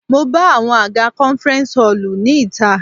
Mo bá àwọn àga conference hall ní ìta.